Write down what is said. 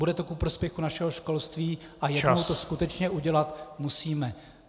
Bude to ku prospěchu našeho školství a jednou to skutečně udělat musíme.